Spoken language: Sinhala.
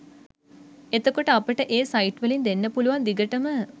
එතකොට අපට ඒ සයිට් වලින් දෙන්න පුලුවන් දිගටම